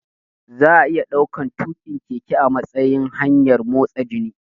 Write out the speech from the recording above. Za'a iya ɗaukan tuƙin keke a matsayin hanyar motsa jiki